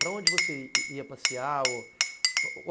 Para onde você ia ia passear? ou